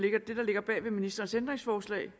ligger bag ved ministerens ændringsforslag